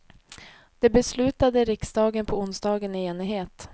Det beslutade riksdagen på onsdagen i enighet.